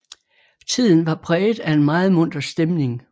Tiden var præget af en meget munter stemning